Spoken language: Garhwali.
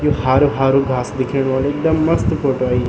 ये हारू हारू घास दिखेणु वालू एकदम मस्त फोटो आई।